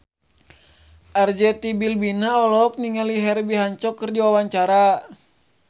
Arzetti Bilbina olohok ningali Herbie Hancock keur diwawancara